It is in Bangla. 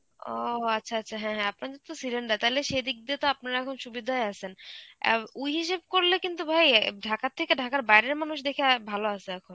ও আচ্ছা আচ্ছা. হ্যাঁ হ্যাঁ, আপনাদের তো cylinder. তালে সেদিক দিয়ে তো আপনারা এখন সুবিধায় আছেন অ্যাঁ ওই হিসেবে করলে কিন্তু ভাই ঢাকার থেকে ঢাকার বাইরের মানুষ দেখি অ্যাঁ ভালো আছে.